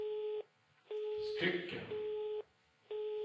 stycken